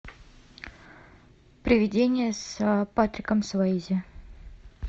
привидение с патриком суэйзи